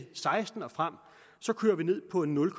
seksten og frem så kører vi ned på en nul